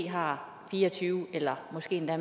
har fire og tyve eller måske endda